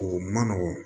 O man nɔgɔn